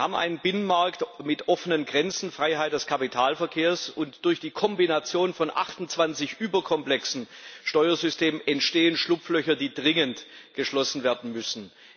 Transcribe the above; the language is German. Wir haben einen Binnenmarkt mit offenen Grenzen Freiheit des Kapitalverkehrs und durch die Kombination von 28 überkomplexen Steuersystemen entstehen Schlupflöcher, die dringend geschlossen werden müssen.